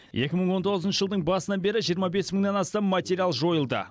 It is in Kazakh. екі мың он тоғызыншы жылдың басынан бері жиырма бес мыңнан астам материал жойылды